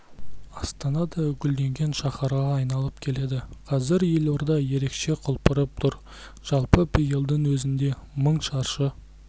астана да гүлденген шаһарға айналып келеді қазір елорда ерекше құлпырып тұр жалпы биылдың өзінде мың шаршы